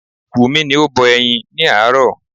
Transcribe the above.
Wumi ni o bọ ẹyin ni aaro